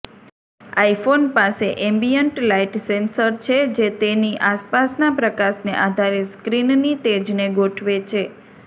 iPhone પાસે ambient light sensor છે જે તેની આસપાસના પ્રકાશને આધારે સ્ક્રીનની તેજને ગોઠવે છે